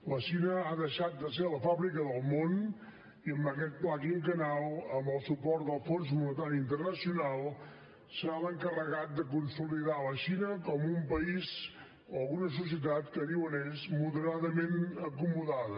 la xina ha deixat de ser la fàbrica del món i amb aquest pla quinquennal amb el suport del fons monetari internacional serà l’encarregat de consolidar la xina com un país o una societat que en diuen ells moderadament acomodada